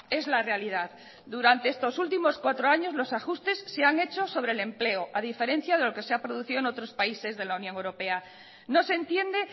es la realidad durante estos últimos cuatro años los ajustes se ha hecho sobre el empleo a diferencia de lo que se ha producido en otros países de la unión europea no se entiende